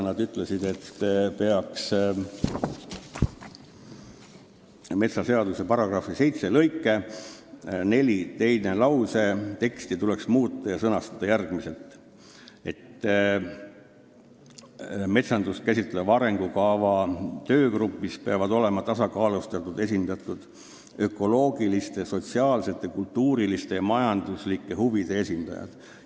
Nad ütlesid, et metsaseaduse § 7 lõike 4 teine lause tuleks ümber sõnastada, sest metsandust käsitleva arengukava töögrupis peavad olema tasakaalustatult esindatud ökoloogiliste, sotsiaalsete, kultuuriliste ja majanduslike huvide esindajad.